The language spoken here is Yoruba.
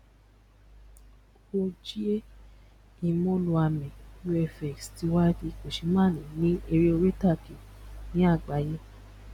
ojie imoloame vfx tí wá di kò ṣe má ní èrè orí itage ni àgbáyé